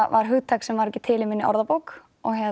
var hugtak sem var ekki til í minni orðabók